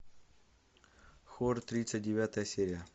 хор тридцать девятая серия